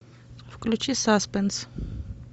включи саспенс